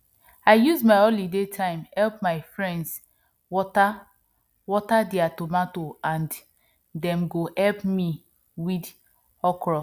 i use my holiday time help my friends water water their tomato and dem go help me weed okro